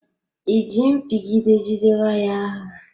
I ji mpigide jide waya ahụ?